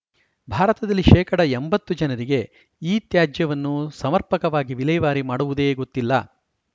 ಭಾರತದಲ್ಲಿ ಶೇಕಡಾ ಎಂಬತ್ತು ಜನರಿಗೆ ಇತ್ಯಾಜ್ಯವನ್ನು ಸಮರ್ಪಕವಾಗಿ ವಿಲೇವಾರಿ ಮಾಡುವುದೇ ಗೊತ್ತಿಲ್ಲ